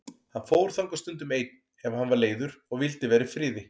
Hann fór þangað stundum einn ef hann var leiður og vildi vera í friði.